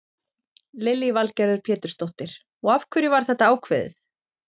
Lillý Valgerður Pétursdóttir: Og af hverju var þetta ákveðið?